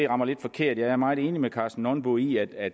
rammer lidt forkert jeg er meget enig med herre karsten nonbo i at